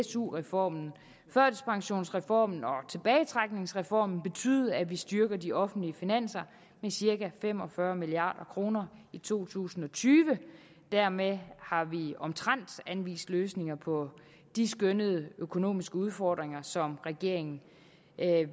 su reformen førtidspensionsreformen og tilbagetrækningsreformen betyde at vi styrker de offentlige finanser med cirka fem og fyrre milliard kroner i to tusind og tyve og dermed har vi omtrent anvist løsninger på de skønnede økonomiske udfordringer som regeringen